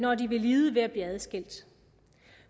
og de vil lide ved at blive adskilt